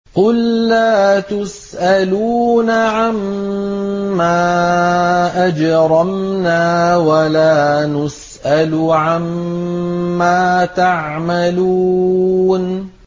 قُل لَّا تُسْأَلُونَ عَمَّا أَجْرَمْنَا وَلَا نُسْأَلُ عَمَّا تَعْمَلُونَ